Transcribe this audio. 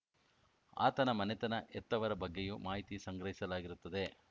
ಆತನ ಮನೆತನ ಹೆತ್ತವರ ಬಗ್ಗೆಯೂ ಮಾಹಿತಿ ಸಂಗ್ರಹಿಸಲಾಗಿರುತ್ತದೆ